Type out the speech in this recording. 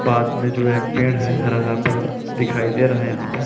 बाद जो है एक पेड़ है हरा-हरा प दिखाई दे रहा है यहाँ पे--